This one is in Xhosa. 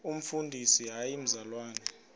umfundisi hayi mzalwana